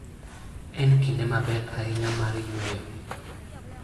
En kinde maber ahinya mar yueyo.